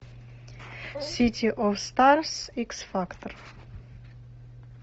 сити оф старс икс фактор